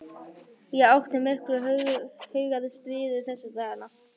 Ég átti í miklu hugarstríði þessa dagana.